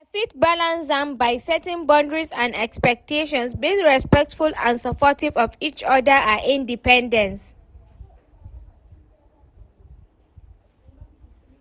I fit balance am by setting boundaries and expectations, being respectful and supportive of each oda'a independence.